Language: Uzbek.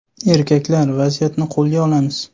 Erkaklar, vaziyatni qo‘lga olamiz!